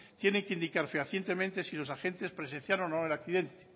tienen que indicar fehacientemente si los agentes presenciaron o no el accidente